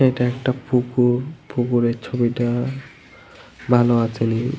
এটা একটা পুকুর। পুকুরের ছবিটা ভালো আসেনি ।